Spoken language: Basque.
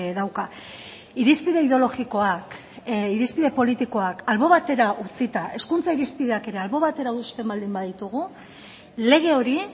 dauka irizpide ideologikoak irizpide politikoak albo batera utzita hezkuntza irizpideak ere albo batera uzten baldin baditugu lege hori